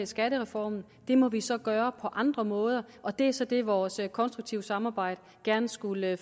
skattereformen må vi så gøre på andre måder og det er så det vores konstruktive samarbejde gerne skulle